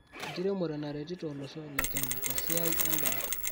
Enkiremore naretito olosho le Kenya tesiai endaa